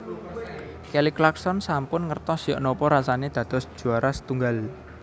Kelly Clarkson sampun ngertos yok nopo rasane dados juwara setunggal